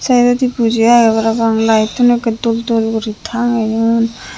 sayedodi buji agey parapang lite tun ekke dol dol guri tangeyon.